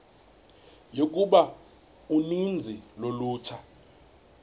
yokuba uninzi lolutsha